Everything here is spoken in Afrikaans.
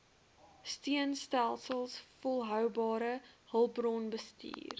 steunstelsels volhoubare hulpbronbestuur